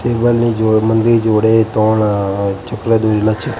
જોડે ત્રણ અ ચપલા દોરેલા છે.